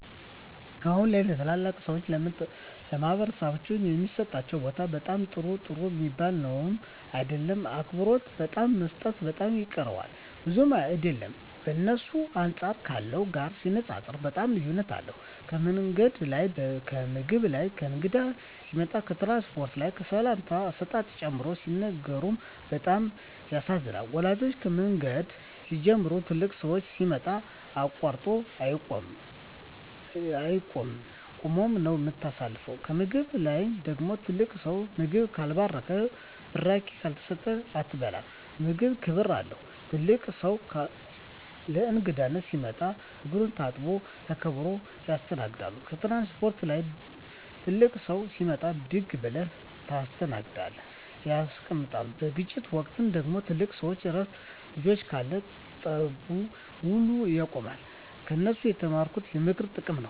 አሁን ላይ ለተላላቅ ሰዎች በማኅበረሰብ ዉስጥ የሚሠጣቸው ቦታ በጣም ጥሩ ሚባል ነዉም አይደለም አክብሮት በጣም መሰጠት በጣም ይቀረዋል ብዙም አይደለም በእነሱ አንጻር ካለው ጋር ሲነጻጽጽሩት በጣም ልዩነት አለዉ ከምንገድ ላይ ከምግብ ላይ ከእንግዳ ሲመጣ ከትራንስፖርት ላይ ከሰላምታ አሰጣጥ ጨምሮ ሲነግሩን በጣም ያሳዝናል ወላጆቻችን ከምንገድ ሲንጀምሩ ትልቅ ሠው ሲመጣ አቃርጦ አይቂድም ቁመ ነው ምታሳልፈው ከምግብ ላይ ደግሞ ትልቅ ሰው ምግቡን ካልባረከዉና ብራቂ ካልሰጠ አትበላም ምግቡም ክብር አለው ትልቅ ሰው ለእንግዳነት ሲመጣ እግሩን ታጥቦ ተከብረው ይስተናገዳሉ ከትራንስፖርት ላይ ትልቅ ሰው ሲመጣ ብድግ ብለው ተነስተው ያስቀምጣሉ በግጭት ወቅት ደግሞ ትልቅ ሰው እረፍ ልጆቸ ካሉ ጠቡ ውላ ያቆማሉ ከነሱ የተማርኩት የማክበር ጥቅም ነው